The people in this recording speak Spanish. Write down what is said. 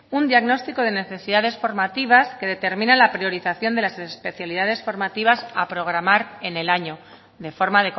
un diagnóstico de necesidades formativas que determinen la priorización de las especialidades formativas a programar en el año de forma